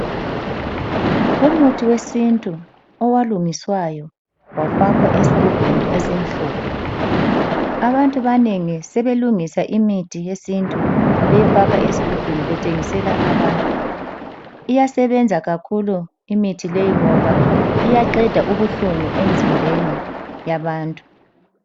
Umuthi wesintu owalungiswayo wafakwa esigubhini esimhlophe. Abantu abanengi sebelungisa imithi yesintu beyifaka ezigubhini bethengisela abantu, iyasebenza kakhulu imithi leyi ngoba iyaqeda ubuhlungu emzimbeni yabantu.